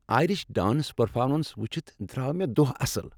Irish dance performance وٕچھتھ درٛاو مےٚ دۄہ اصٕل۔